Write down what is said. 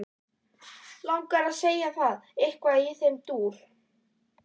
Langar að segja það, eitthvað í þeim dúr.